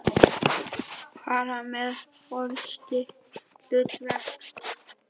fara með forystuhlutverk.